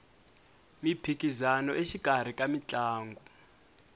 miphikisano exikarhi ka mitlangu